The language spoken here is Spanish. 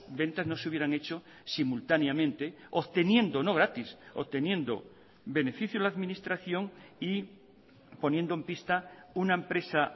ventas no se hubieran hecho simultáneamente obteniendo no gratis obteniendo beneficio la administración y poniendo en pista una empresa